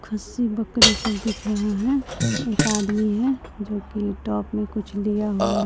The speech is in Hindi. खस्सी बकरी सब दिख रहा है एक आदमी है जो कि टॉप में कुछ लिया हुआ--